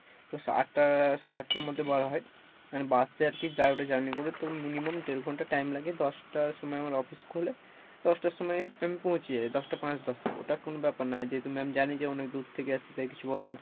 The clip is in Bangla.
তো আট টা সাড়ে আটটার মধ্যে বার হই, bus এ আর কী journey করে তোর minimum দেড় ঘণ্টা time লাগে দশ টার সময় আমার office খোলে দশ টার সময় আমি পৌঁছে যাই, দশ টা পাঁচ দশটা ওটা কোনও ব্যাপার না, যেহেতু ma'am জানে যে অনেক দূর থেকে আসছি তাই কিছু বলে না,